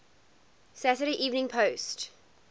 saturday evening post